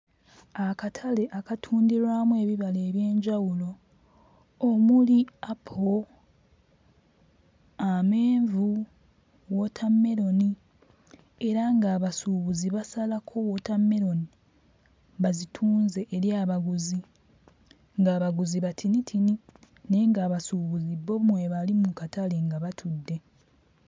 Akatale akatundirwamu ebibala eby'enjawulo omuli apo, amenvu, wootammeroni era nga abasuubuzi basalako wootammeroni bazitunze eri abaguzi ng'abaguzi batinitini naye ng'abasuubuzi bo mwe bali mu katale nga batudde.